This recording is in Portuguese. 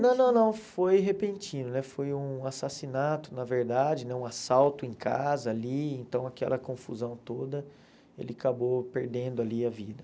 Não, não, não, foi repentino, né foi um assassinato, na verdade, né um assalto em casa ali, então aquela confusão toda, ele acabou perdendo ali a vida.